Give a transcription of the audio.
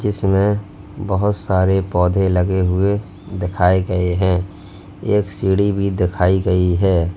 जिसमें बहोत सारे पौधे लगे हुए दिखाए गए हैं एक सीढ़ी भी दिखाई गई है।